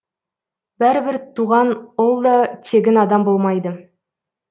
бәрібір туған ұл да тегін адам болмайды